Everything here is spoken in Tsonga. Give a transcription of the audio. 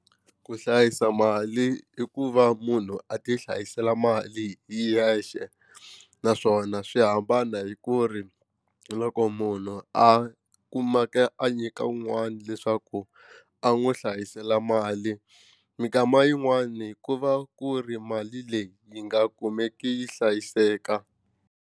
Ku hlayisa mali i ku va munhu a ti hlayisela mali hi yexe naswona swi hambana hi ku ri loko munhu a kumeka ya a nyika un'wana leswaku a n'wi hlayisela mali minkama yin'wani ku va ku ri mali leyi yi nga kumeki yi hlayiseka.